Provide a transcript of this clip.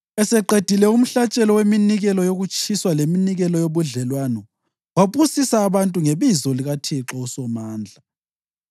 Eseqedile umhlatshelo weminikelo yokutshiswa leminikelo yobudlelwano wabusisa abantu ngebizo likaThixo uSomandla.